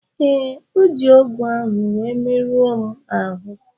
Ee, o ji ọ́gụ̀ ahụ wee merụọ m ahụ́.